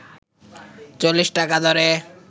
৪০ টাকা দরে